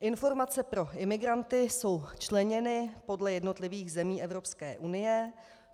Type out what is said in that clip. Informace pro imigranty jsou členěny podle jednotlivých zemí Evropské unie.